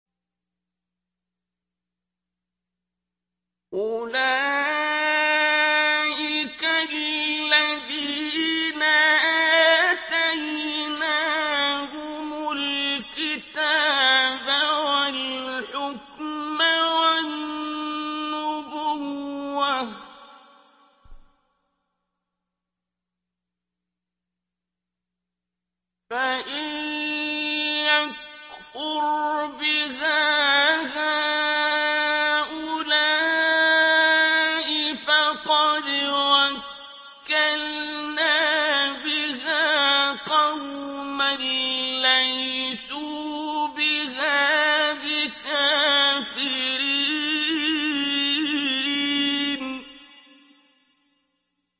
أُولَٰئِكَ الَّذِينَ آتَيْنَاهُمُ الْكِتَابَ وَالْحُكْمَ وَالنُّبُوَّةَ ۚ فَإِن يَكْفُرْ بِهَا هَٰؤُلَاءِ فَقَدْ وَكَّلْنَا بِهَا قَوْمًا لَّيْسُوا بِهَا بِكَافِرِينَ